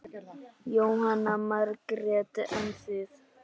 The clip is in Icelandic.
Jóhanna Margrét: En þið?